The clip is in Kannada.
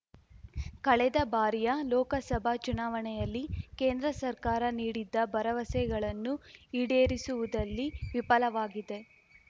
ಕಳೆದ ಬಾರಿಯ ಲೋಕಸಭಾ ಚುನಾವಣೆಯಲ್ಲಿ ಕೇಂದ್ರ ಸರ್ಕಾರ ನೀಡಿದ್ದ ಭರವಸೆಗಳನ್ನು ಈಡೇರಿಸುವುದಲ್ಲಿ ವಿಪಲವಾಗಿದೆ